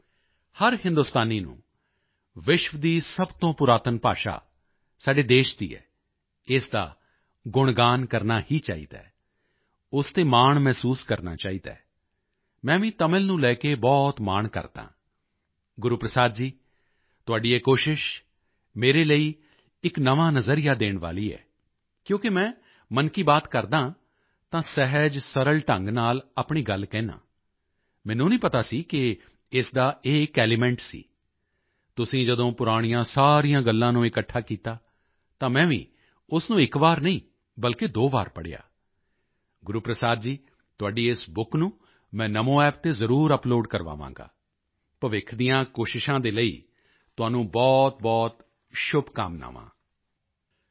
ਸਾਥੀਓ ਹਰ ਹਿੰਦੁਸਤਾਨੀ ਨੂੰ ਵਿਸ਼ਵ ਦੀ ਸਭ ਤੋਂ ਪੁਰਾਤਨ ਭਾਸ਼ਾ ਸਾਡੇ ਦੇਸ਼ ਦੀ ਹੈ ਇਸ ਦਾ ਗੁਣਗਾਨ ਕਰਨਾ ਹੀ ਚਾਹੀਦਾ ਹੈ ਉਸ ਤੇ ਮਾਣ ਮਹਿਸੂਸ ਕਰਨਾ ਚਾਹੀਦਾ ਹੈ ਮੈਂ ਵੀ ਤਮਿਲ ਨੂੰ ਲੈ ਕੇ ਬਹੁਤ ਮਾਣ ਕਰਦਾ ਹਾਂ ਗੁਰੂਪ੍ਰਸਾਦ ਜੀ ਤੁਹਾਡੀ ਇਹ ਕੋਸ਼ਿਸ਼ ਮੇਰੇ ਲਈ ਇਕ ਨਵਾਂ ਨਜ਼ਰੀਆ ਦੇਣ ਵਾਲੀ ਹੈ ਕਿਉਂਕਿ ਮੈਂ ਮਨ ਕੀ ਬਾਤ ਕਰਦਾ ਹਾਂ ਤਾਂ ਸਹਿਜਸਰਲ ਢੰਗ ਨਾਲ ਆਪਣੀ ਗੱਲ ਕਹਿੰਦਾ ਹਾਂ ਮੈਨੂੰ ਨਹੀਂ ਪਤਾ ਸੀ ਕਿ ਇਸ ਦਾ ਇਹ ਇਕ ਐਲੀਮੈਂਟ ਸੀ ਤੁਸੀਂ ਜਦੋਂ ਪੁਰਾਣੀਆਂ ਸਾਰੀਆਂ ਗੱਲਾਂ ਨੂੰ ਇਕੱਠਾ ਕੀਤਾ ਤਾਂ ਮੈਂ ਵੀ ਉਸ ਨੂੰ ਇਕ ਵਾਰ ਨਹੀਂ ਬਲਕਿ ਦੋ ਵਾਰ ਪੜ੍ਹਿਆ ਗੁਰੂਪ੍ਰਸਾਦ ਜੀ ਤੁਹਾਡੀ ਇਸ ਬੁੱਕ ਨੂੰ ਮੈਂ NamoApp ਤੇ ਜ਼ਰੂਰ ਅਪਲੋਡ ਕਰਵਾਵਾਂਗਾ ਭਵਿੱਖ ਦੀਆਂ ਕੋਸ਼ਿਸ਼ਾਂ ਦੇ ਲਈ ਤੁਹਾਨੂੰ ਬਹੁਤਬਹੁਤ ਸ਼ੁਭਕਾਮਨਾਵਾਂ